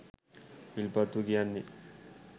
විල්පත්තුව කියන්නෙ